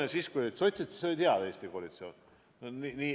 Aga siis, kui olid sotsid, oli nagu hea koalitsioon.